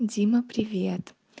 дима привет